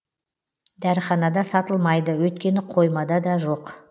дәріханада сатылмайды өйткені қоймада да жоқ